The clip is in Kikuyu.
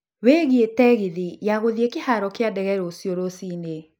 wiĩge tegithi ya gũthiĩ kĩharo ya ndege rũcio rũcinĩ